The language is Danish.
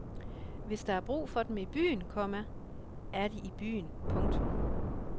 Hvis der er brug for dem i byen, komma er de i byen. punktum